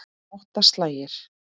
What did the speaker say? Átta slagir.